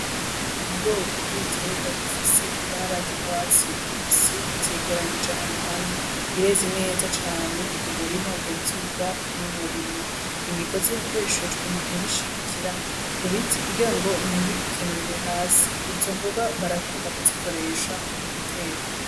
Ubwoko bw'ibiterwa bifise ibara ry'urwatsi rubisi vyeranirije ahantu hamwe bireze neza cane umurima ugenzurwa n'umurimyi imigozi ya koreshejwe mu kubishigikira ku biti kugirango nti bikenurire hasi izo mboga barakunda kuzikoresha mu guteka.